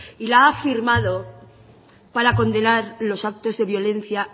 y la ha firmado para condenar los actos de violencia